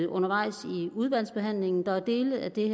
undervejs i udvalgsbehandlingen der er dele af det